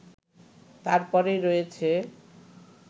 তারপরেই রয়েছ